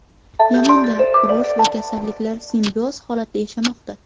Yamanda urush va kasalliklar simbioz holatda yashamoqda.